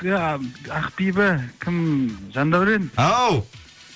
иә ақбибі кім жандәурен ау